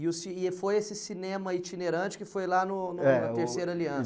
E o ci e foi esse cinema itinerante que foi lá no no na Terceira Aliança.